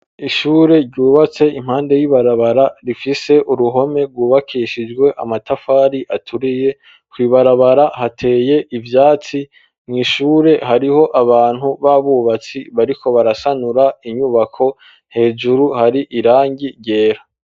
Ishure ryubatse impande y'ibarabara rifise uruhome rwubakishijwe amatafari aturiye, kw'ibarabara hateye ivyatsi, mw' ishure hariho abantu b'abubatsi bariko barasanura inyubako hejuru hari irangi ryera.